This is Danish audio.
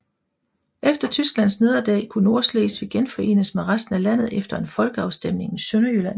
Efter Tysklands nederlag kunne Nordslesvig genforenes med resten af landet efter en folkeafstemning i Sønderjylland